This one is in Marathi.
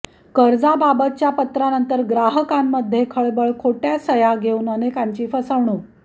कर्जाबाबतच्या पत्रानंतर ग्राहकांमध्ये खळबळ खोटय़ा सहय़ा घेऊन अनेकांची फसवणूक